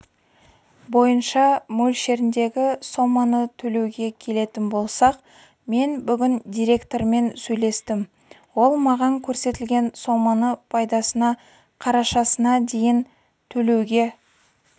бойынша мөлшеріндегі соманы төлеуге келетін болсақ мен бүгін директормен сөйлестім ол маған көрсетілген соманы пайдасына қарашасына дейін төлеуге